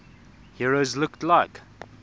heroes looked like